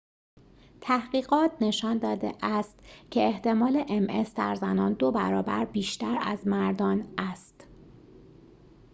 تحقیقات نشان داده است که احتمال ام اس در زنان دوبرابر بیشتر از مردان است